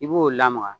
I b'o lamaga